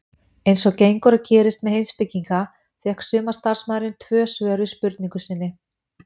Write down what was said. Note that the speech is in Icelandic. Eins og gengur og gerist með heimspekinga fékk sumarstarfsmaðurinn tvö svör við spurningu sinni.